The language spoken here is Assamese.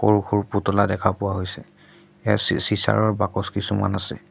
সৰু সৰু পুতলা দেখা পোৱা হৈছে এ চি চিঁচাৰৰ বাকচ কিছুমান আছে।